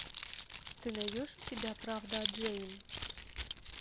ты найдешь у себя правда о джейн